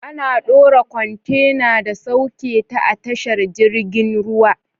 Ana dora kwantena da sauketa a tashar jirgin ruwa.